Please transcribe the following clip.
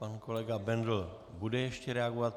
Pan kolega Bendl bude ještě reagovat.